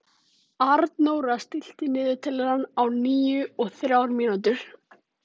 Arnóra, stilltu niðurteljara á níutíu og þrjár mínútur.